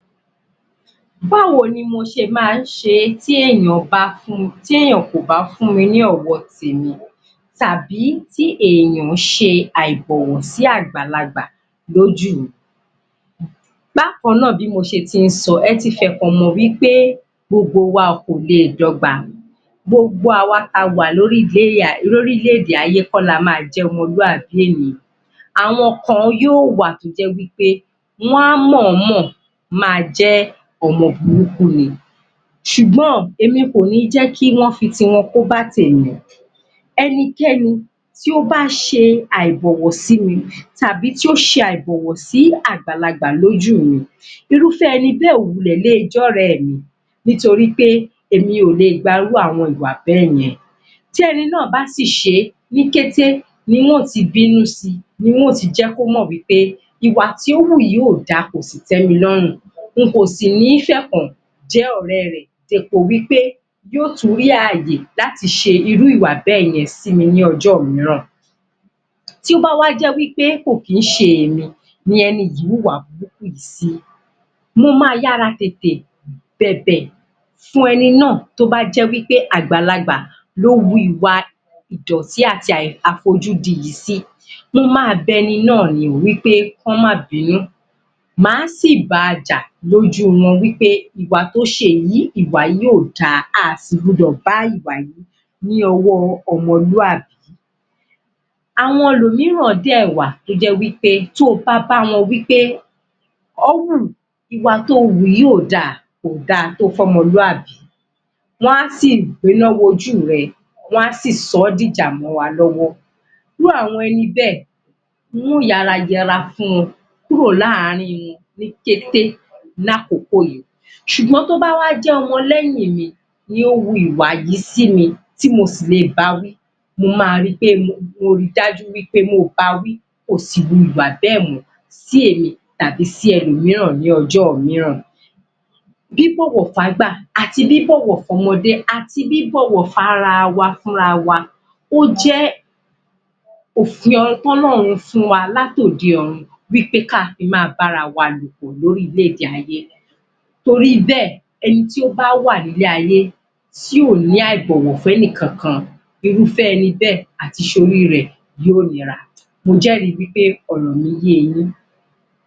Báwo ni mo ṣe máa ń ṣe tí èèyàn bá fún tí èèyàn kò bá fún mi ni ọ̀wọ̀ ti rebi tàbí tí èèyàn ṣe àị̀bọ̀wọ̀ àgbàlagbà lójú mi Bákan náà, bí mo ṣe tí ń sọ, ẹti fi ẹ̀kan mọ̀ wí pé gbogbo wa kò le dógba gbogbo àwa ta wà lórílẹ̀-èdè ayé kọ́ lá máa jẹ́ ọmọlúàbí ènìyàn àwọn kan yóò wà tó jẹ́ wí pẹ́ wá mọ̀ọ́ mọ̀ máa jẹ́ ọmọ burúkú ni ṣùgbọ́n èmi kò ní jẹ́ kí wọ́n fi tiwọn kóbá tèmi o ẹnikẹ́ni tí ó bá ṣe àìbọ̀wọ̀ sí mi tàbí tí ó ṣe àìbọ̀wọ̀ sí àgbàlagbà lójuụ mi irúfẹ́ eni bẹ́ẹ̀ ò wulẹ̀ le jẹ́ ọ̀rẹ́ mi nítorí pé èmi ò lè gba irú àwọn ìwà bẹ́èyẹn, tí ẹni náà bá sì ṣe ní kété ni ń ti bínú si ni ń ó ti jẹ́ kò mọ̀ wí pé ìwà tí o wù yìí ò da, kò sì tẹ́ mi lọ́rùn èmi ò sì ní fi ẹ̀kan jẹ ọ̀rẹ́ rẹ̀ dépo wí pé yóò tún rí àyè láti ṣe irú ìwà bẹ́ẹ̀yẹn sí mi ní ọjọ́ mìíràn. Tí ó bá wá jẹ́ wí pé kò kí ń ṣe èmi ni ẹni yìí wùwà burúkú yìí sí mo máa yára tètè bẹ̀bẹ̀ kí ẹni náà tó bá jẹ́ wí pé àgbàlagbà ló wu ìwà ìdọ̀tí àti àfojúdi yìí sí mo máa bẹ ẹni náà ni wí pé kọ́ máa bínú máa sì ba jà lójú wọn wí pé ìwà tó ṣe yìí, ìwà yìí ò da, a sì gbọ́dọ̀ bá ìwà yìí ní ọwọ́ ọmọlúàbí. Àwọn ẹlọ̀míràn dẹ̀ wà tó jẹ́ wí pé, to bá bá wọn wí pé ọ́wù ìwà tó o wù yìí ò da kò da tó fún ọmọlúàbí, wá si gbéná wojú rẹ, wá si sọ́ di ìjà mọ́ wa lọ́wọ́. Irú àwọn ẹni bẹ́ẹ̀ máa rọra yẹra fún wọn kúrò láàrin wọn ní kété ní àkókò yìí ṣùgbọ́n tí ó bá wá jẹ́ ọmọ lẹ́yìn mi, ni ó wu ìwà yìí sí mi tí mo sì lè ba wí mo máa ri dájú wí pé mo bawí kò sì ru ìwà bẹ́ẹ̀ mọ́ sí èmi tàbí sí ẹlọ̀míràn ní ọjọ́ mìíràn. Bíbọ̀wọ̀ f'ágbà àti bíbọ̀wọ̀ f'ọ́mọdé àti bíbọ̀wọ̀ f'ára wa fúnra wa ó jé òfin tí Ọlọ́run fún wa láti òde ọ̀run wí pé ká fi máa bá ara wa lò l'órílẹ̀-èdè ayé. Torí bẹ́ẹ̀, ẹni tí ó bá wà ní ilé-ayé tí ò ní àìbọ̀wọ̀* fún ẹni kankan irúfẹ́ ẹni bẹ́ẹ̀ àti ṣoríre rẹ̀ yóò nira. Mo jẹ́rìí wí pé ọ̀rọ̀ mi ye yín?